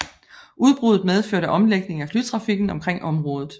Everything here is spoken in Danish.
Udbruddet medførte omlægning af flytrafikken omkring området